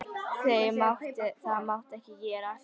Það mátti ekki gerast.